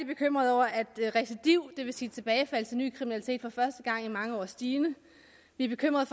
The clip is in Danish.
bekymrede over at recidiv det vil sige tilbagefald til ny kriminalitet for første gang i mange år er stigende vi er bekymrede